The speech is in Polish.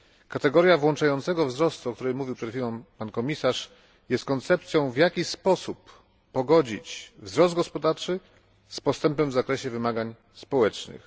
Kategoria włączającego wzrostu, o którym mówił przed chwilą komisarz, jest koncepcją, w jaki sposób pogodzić wzrost gospodarczy z postępem w zakresie wymagań społecznych.